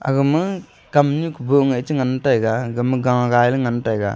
agama kamnyu kubu chingan taiga egama gagailey le ngan taiga.